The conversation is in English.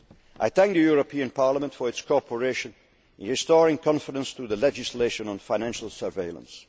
but surely. I thank the European Parliament for its cooperation in restoring confidence through the legislation on financial